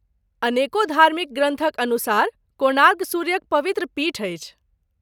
अनेको धार्मिक ग्रन्थक अनुसार, कोणार्क सूर्यक पवित्र पीठ अछि ।